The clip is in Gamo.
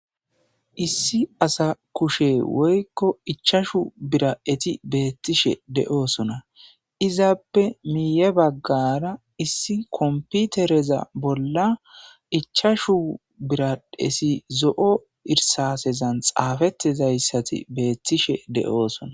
Issi asa kushe woykko ichashu bira'eti beettishe de'oosona izaappe miiye baggara issi komputereza bolla ichashu biradesi zo'o irsasezan xaafettizayssati beettishe de'osona.